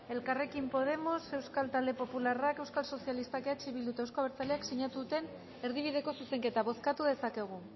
elkarrekin podemos euskal talde popularrak euskal sozialistak eh bilduk eta euzko abertzaleak sinatu duten erdibideko zuzenketa bozkatu dezakegu